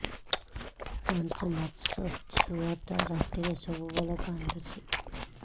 ପାଞ୍ଚ ମାସ ଛୁଆଟା ରାତିରେ ସବୁବେଳେ କାନ୍ଦୁଚି